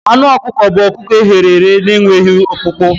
Anụ ọkụkọ bụ ọkụkọ e ghere eghe na-enweghị ọkpụkpụ.